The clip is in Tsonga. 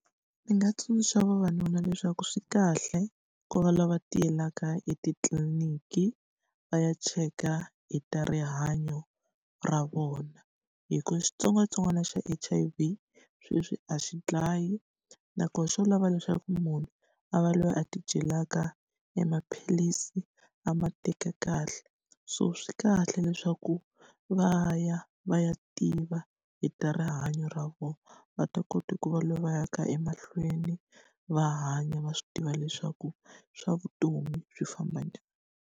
Ndzi nga tsundzuxa vavanuna leswaku swi kahle ku va lava tiyelaka etitliliniki, va ya cheka hi ta rihanyo ra vona. Hi ku xitsongwatsongwana xa H_I_V sweswi a xi dlayi nakona xo lava leswaku munhu a va loyi a tidyelaka emaphilisi, a ma teka kahle. So swi kahle leswaku va ya va ya tiva hi ta rihanyo ra vona, va ta kota ku va va ya ka emahlweni va hanya va swi tiva leswaku swa vutomi swi famba njhani.